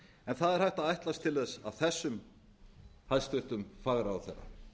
en það er hægt að ætlast til þess af þessum hæstvirtur fagráðherra